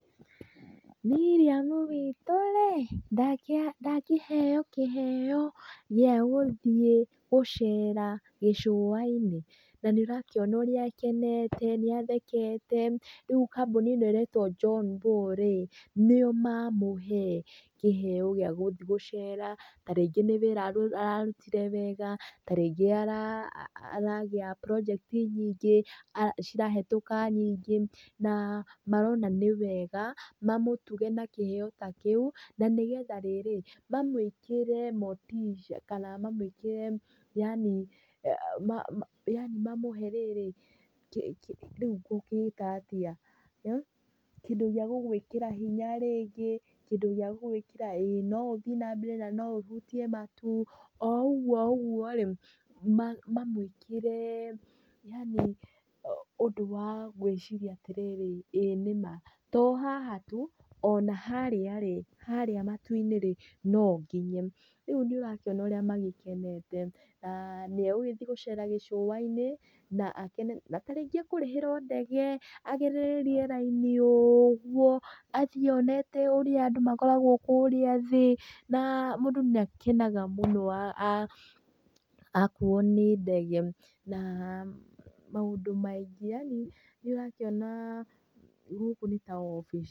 Miriamu witũ rĩ! ndakĩheo kĩheo gĩa gũthiĩ gũcera gĩcũainĩ na nĩ ũrakĩona ũrĩa akenete, nĩ athekete, ríu kambuni ĩno ĩretwo John Bau rĩ nĩo mamũhe kĩheo gĩa gũthiĩ gũcera ta rĩngĩ nĩ wĩra ararutire wega, ta rĩngĩ aragĩa project nyingĩ, cirahetũka nyingĩ na marona nĩ wega mamũtuge na kĩheo ta kĩu na nĩ getha rĩrĩ, mamwĩkĩre motisha kana mamwĩkĩre, yaani mamũhe rĩrĩ, kĩndũ gĩa gũgwĩkĩra hinya rĩngĩ, no ũthiĩ na mbere na no ũhutie matu, o ũguo o ũguo rĩ mamwĩkĩre yaani ũndũ wa gwĩciria atĩrĩrĩ, ĩ nĩ ma, to haha tu, o na harĩa, harĩa matu-inĩ rĩ, no nginye. Rĩu nĩ ũrakĩona ũrĩa magĩkenete, na nĩ egũgĩthiĩ gũcera gĩcũainĩ na akene, na ta rĩngĩ ekũrĩhĩrwo ndege, agerere rĩera-inĩ ũguo, athiĩ onete ũrĩa andũ makoragwo kũrĩa thĩ, na mũndũ nĩ akenaga mũno akuo nĩ ndege na maũndũ maingĩ, yaani nĩ ũrakĩona gũkũ nĩ ta obici.